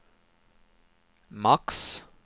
max